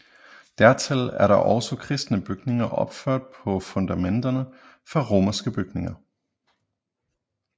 Dertil er der også kristne bygninger opført på fundamenterne fra romerske bygninger